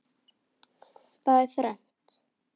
Það er þrennt.